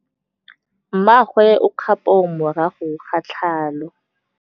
Mmagwe o kgapô morago ga tlhalô.